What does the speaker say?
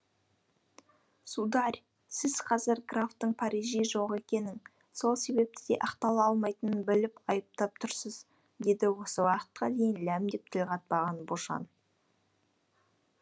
сударь сіз қазір графтың парижде жоқ екенін сол себепті де ақтала алмайтынын біліп айыптап тұрсыз деді осы уақытқа дейін ләм деп тіл қатпаған бошан